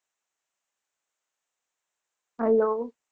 hello